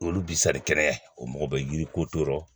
Olu bi sali kɛnɛ o mɔgɔ bɛ yiri ko to